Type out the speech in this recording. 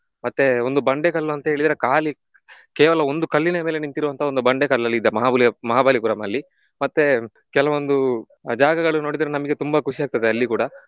ಮತ್ತೆ ಒಂದು ಬಂಡೆಕಲ್ಲು ಅಂತ ಹೇಳಿದ್ರೆ ಖಾಲಿ ಕೇವಲ ಒಂದು ಕಲ್ಲಿನ ಮೇಲೆ ನಿಂತಿರುವಂತಹ ಒಂದು ಬಂಡೆಕಲ್ಲ್ ಅಲ್ಲಿ ಇದ್ದ ಮಹಾಬಲಿ~ ಮಹಾಬಲಿಪುರಂ ಅಲ್ಲಿ. ಮತ್ತೆ ಕೆಲವೊಂದು ಜಾಗಗಳು ನೋಡಿದ್ರೆ ನಮಗೆ ತುಂಬಾ ಖುಷಿಯಾಗ್ತದೆ ಅಲ್ಲಿ ಕೂಡ.